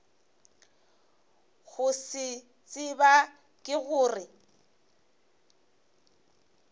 go se tseba ke gore